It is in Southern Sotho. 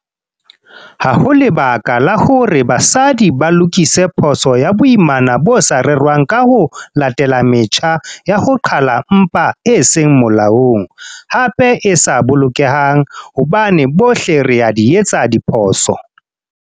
Ha ho lebaka la hore basadi ba lokise phoso ya boimana bo sa rerwang ka ho latela metjha ya ho qhala mpha e seng molaong, hape e sa bolokehang, hobane bohle re a di etsa diphoso.